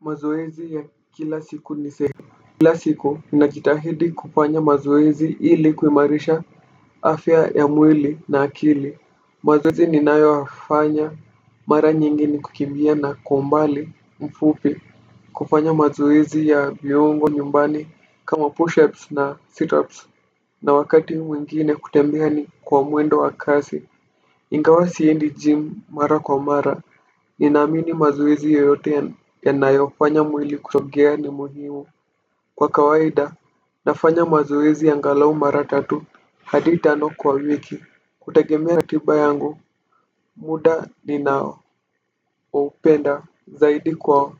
Mazoezi ya kila siku ni sehe. Kila siku nina jitahidi kufanya mazoezi ili kuimarisha afya ya mwili na akili. Mazoezi ninayo yafanya mara nyingi ni kukimbia na kwa umbali mfupi. Kufanya mazoezi ya viungo nyumbani kama push ups na sit ups. Na wakati mwingine kutembea ni kwa mwendo wa kasi. Ingawa siendi jim mara kwa mara. Nina amini mazoezi yoyote yanayofanya mwili kusogea ni muhimu. Kwa kawaida nafanya mazoezi mara angalau mara tatu hadi tano kwa wiki. Kutegemea katiba yangu muda ninaopenda zaidi kwa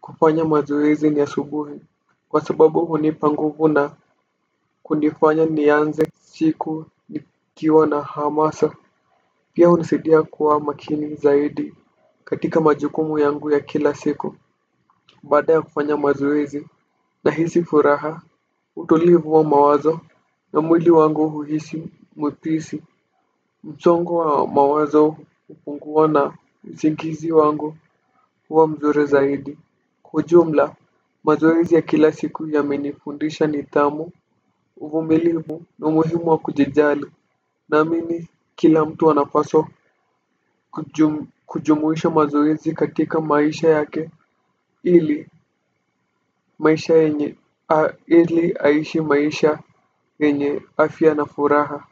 kufanya mazoezi ni asubuhi. Kwa sababu hunipa nguvu na kunifanya nianze siiku nikiwa na hamasa. Pia hunisidia kuwa makini zaidi katika majukumu yangu ya kila siku. Baada ya kufanya mazoezi na hisi furaha utulivu wa mawazo na mwili wangu huishi mwepesi msongo wa mawazo hupungua na usingizi wangu huwa mzuri zaidi. Kwa ujumla mazoezi ya kila siku yame nifundisha nidhamu uvumilivu na umuhimu wa kujijali naamimi kila mtu anapaswa kujumuisha mazoezi katika maisha yake ili ili aishi maisha yenye afya na furaha.